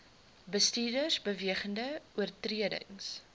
bestuurders bewegende oortredings